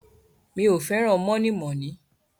Mi ò fẹ́ràn mọ̀nímọ̀ní.